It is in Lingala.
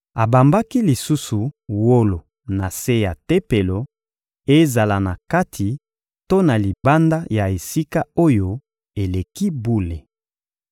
Abambaki lisusu wolo na se ya Tempelo, ezala na kati to na libanda ya Esika-Oyo-Eleki-Bule.